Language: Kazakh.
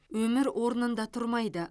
өмір орнында тұрмайды